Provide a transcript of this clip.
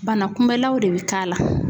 Bana kunbɛlaw de be ka la.